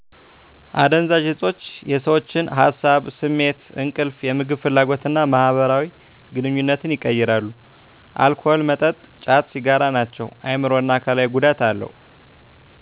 አደንዛዥ እፆች የሰዎችን ሀሳብ፤ ስሜት፤ እንቅልፍ፤ የምግብ ፍላጎት እና ማህበራዊ ግንኙነትን ይቀይራሉ። አልኮል መጠጥ፤ ጫት፤ ሲጋራ ናቸው። አይምሮአዊ እና አካላዊ ጉዳት አለው።